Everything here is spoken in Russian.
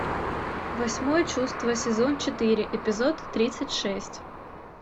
восьмое чувство сезон четыре эпизод тридцать шесть